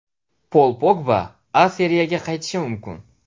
Pol Pogba A Seriyaga qaytishi mumkin.